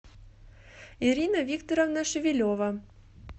ирина викторовна шевелева